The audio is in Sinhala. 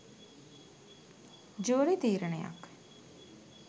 ජූරි තීරණයක්.